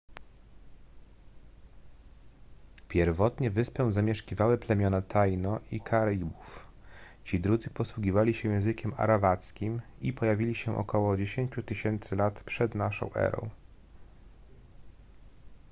pierwotnie wyspę zamieszkiwały plemiona taino i karibów ci drudzy posługiwali się językiem arawackim i pojawili się ok 10 000 lat p.n.e